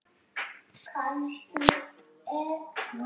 Aron skoraði tvö mörk.